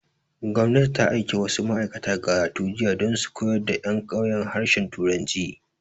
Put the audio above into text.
Gwamnati ta aiki wasu ma'aikata Garatu jiya dan su koyar da ƴan ƙauyen harshen turanci